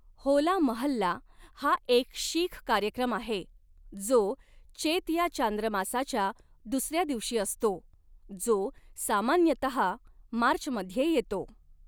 होला महल्ला हा एक शीख कार्यक्रम आहे जो चेत या चांद्रमासाच्या दुसऱ्या दिवशी असतो, जो सामान्यतः मार्चमध्ये येतो.